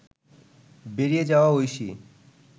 বেরিয়ে যাওয়া ঐশী